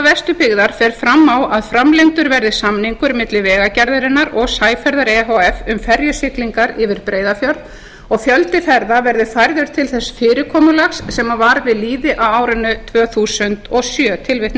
vesturbyggðar fer fram á að framlengdur verði samningur milli vegagerðarinnar og sæferða e h f um ferjusiglingar yfir breiðafjörð og fjöldi ferða verði færður til þess fyrirkomulags sem var við lýði á árinu tvö þúsund og